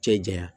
Cɛ janya